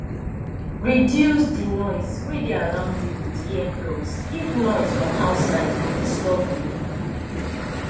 reduce di noise wey dey around you with ear plugs if noise from outside dey disturb you